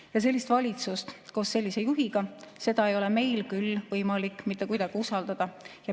Ja sellist valitsust koos sellise juhiga ei ole meil küll võimalik mitte kuidagi usaldada.